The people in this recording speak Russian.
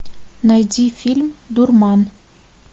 найди фильм дурман